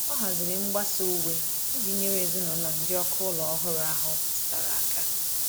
O haziri mgbasa uwe iji nyere ezinụlọ ndị ọkụ ụlọ ọhụrụ ahụ metụtara aka.